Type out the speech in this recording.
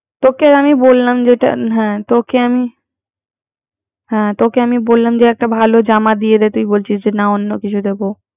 তোকে আমি বলালম যে, তোকে আমি তোকে আমি বললাম যে একটা ভালো জামা দিয়ে দে